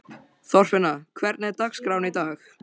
Þorfinna, hvernig er dagskráin í dag?